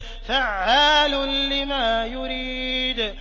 فَعَّالٌ لِّمَا يُرِيدُ